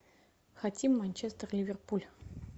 хотим манчестер ливерпуль